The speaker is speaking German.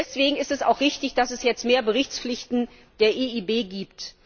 Deswegen ist es auch richtig, dass es jetzt mehr Berichtspflichten der EIB gibt.